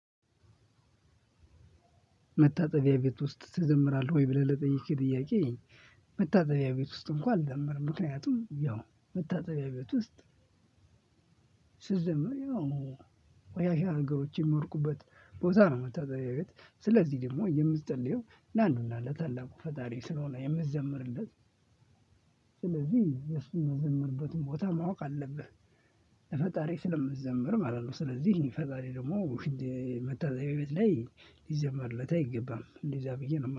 መታጠቢያ ቤት ውስጥ ትዘምራህ ወይ ብለህ ለጠየቅከኝ ጥያቄ? መታጠቢያ ቤት ውስጥ እንኳን አልዘምርም። ምክንያቱም ያው መታጠቢያ ቤት ውስጥ። ስትዘምር ያው ቆሻሻ ነገሮች የሚወድቁበት ቦታ ነው። መታጠቢያ ቤት ስለዚህ ደግሞ የምትጸልየው ለአንዱ እና ለታላቁ ፈጣሪ ስለሆነ የምትዘምርለት ስለዚህ የሱ ምትዘምርበት ቦታ ማወቅ አለብህ። ፈጣሪ ስለምዘምር ማለት ነው። ስለዚህ ፈጣሪ ደግሞ መታጠቢያ ቤት ላይ ሊዘመርለት አይገባም እንደዛ ብዬ ነው። ማ